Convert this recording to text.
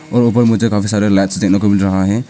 और ऊपर मुझे काफी सारे लाइट्स देने को मिल रहा है।